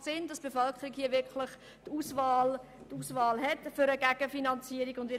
Somit steht für die Bevölkerung hier wirklich eine Gegenfinanzierung zur Auswahl.